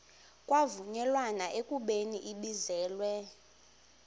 kwavunyelwana ekubeni ibizelwe